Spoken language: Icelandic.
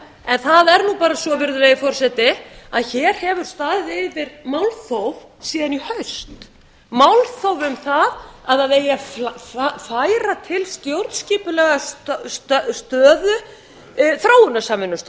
en það er bara svo að hér hefur staðið yfir málþóf síðan í haust málþóf um það að það eigi að færa til stjórnskipulega stöðu þróunarsamvinnustofnunar